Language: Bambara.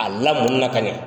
A lamɔni na ka ɲɛ,